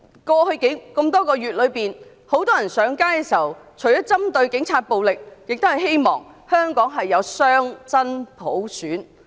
過去多個月以來，市民除了針對警暴而上街外，亦希望香港擁有真正的雙普選。